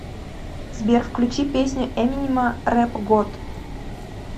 сбер включи песню эминема рэп год